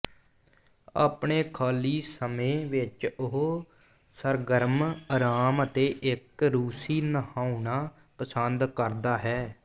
ਆਪਣੇ ਖਾਲੀ ਸਮੇਂ ਵਿਚ ਉਹ ਸਰਗਰਮ ਆਰਾਮ ਅਤੇ ਇੱਕ ਰੂਸੀ ਨਹਾਉਣਾ ਪਸੰਦ ਕਰਦਾ ਹੈ